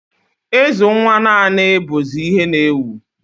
Ịzụ nwa naanị bụzị ihe n'ewu